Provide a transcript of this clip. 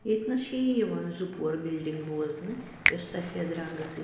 ییٚتۍنس چھ یہِ یِوان زٕپۄہر بِلڈِنگ .بوزنہٕ یۄس سفید رنٛگہٕ سۭتۍ